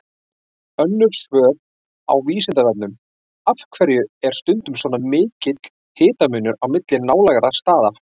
Önnur svör á Vísindavefnum: Af hverju er stundum svona mikill hitamunur á milli nálægra staða?